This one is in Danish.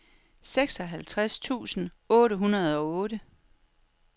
seksoghalvtreds tusind otte hundrede og otte